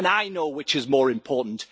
I know which is more important.